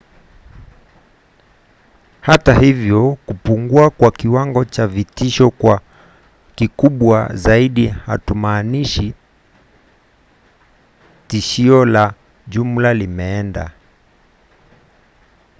hata hivyo kupungua kwa kiwango cha vitisho kuwa kikubwa zaidi hakumaanishi tishio la jumla limeenda.